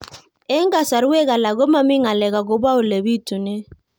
Eng' kasarwek alak ko mami ng'alek akopo ole pitunee